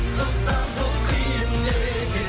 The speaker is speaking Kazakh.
ұзақ жол қиын екен